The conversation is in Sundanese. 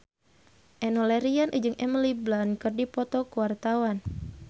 Enno Lerian jeung Emily Blunt keur dipoto ku wartawan